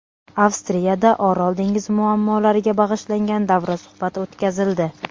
Avstriyada Orol dengizi muammolariga bag‘ishlangan davra suhbati o‘tkazildi.